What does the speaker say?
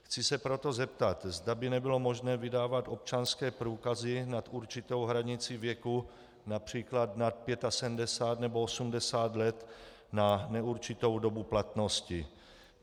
Chci se proto zeptat, zda by nebylo možné vydávat občanské průkazy nad určitou hranici věku, například nad 75 nebo 80 let, na neurčitou dobu platnosti.